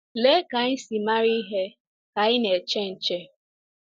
Lee ka anyị si mara ihe ka anyị na-eche nche!